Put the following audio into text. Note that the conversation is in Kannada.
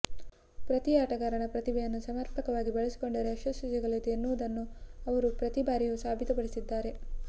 ಪ್ರತಿ ಆಟಗಾರನ ಪ್ರತಿಭೆಯನ್ನು ಸಮರ್ಪಕವಾಗಿ ಬಳಸಿಕೊಂಡರೆ ಯಶಸ್ಸು ಸಿಗಲಿದೆ ಎನ್ನುವುದನ್ನು ಅವರು ಪ್ರತಿ ಬಾರಿಯೂ ಸಾಬೀತುಪಡಿಸಿದ್ದಾರೆ